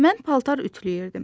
Mən paltar ütüləyirdim.